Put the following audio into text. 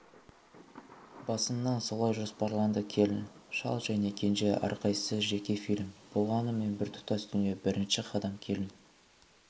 басынан солай жоспарланды келін шал және кенже әрқайсысы жеке фильм болғанымен біртұтас дүние бірінші қадам келін